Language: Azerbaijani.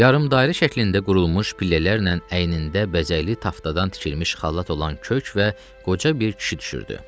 Yarımdairə şəklində qurulmuş pillələrlə əynində bəzəkli taftadan tikilmiş xalat olan kök və qoca bir kişi düşürdü.